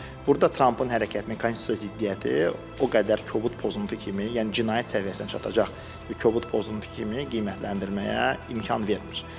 Burda Trampın hərəkətini, konstitusiyaya ziddiyyəti o qədər kobud pozuntu kimi, yəni cinayət səviyyəsinə çatacaq kobud pozuntu kimi qiymətləndirməyə imkan vermir.